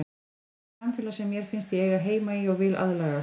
Þetta er samfélag sem mér finnst ég eiga heima í og vil aðlagast.